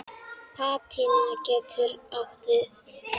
Patína getur átt við